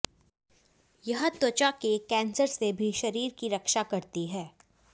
यह त्वचा के कैंसर से भी शरीर की रक्षा करती है